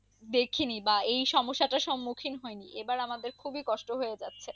দেখিনি বা এই সমস্যাটার স্মুখীন হয়নি আবার আমাদের খুবই কষ্ট হয়ে যাচ্ছে।